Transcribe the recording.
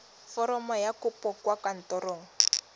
foromo ya kopo kwa kantorong